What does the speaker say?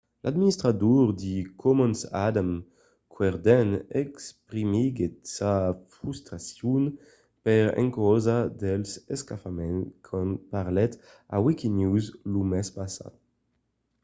l'administrador de commons adam cuerden exprimiguèt sa frustracion per encausa dels escafaments quand parlèt a wikinews lo mes passat